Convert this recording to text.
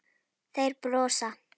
Þeir brosa.